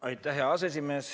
Aitäh, hea aseesimees!